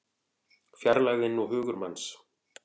Fjarlægðin og hugur manns